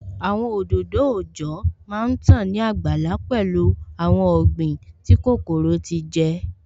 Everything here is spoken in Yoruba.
Àwọn òdòdó òòjọ́ má tán ní àgbàlá pẹ̀lú awon ọ̀gbìn tí kòkòrò ti jẹ